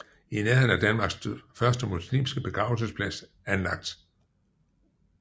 I nærheden er Danmarks første muslimske begravelsesplads anlagt